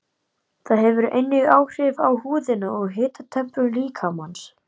Það hefur einnig áhrif á húðina og hitatemprun líkamans.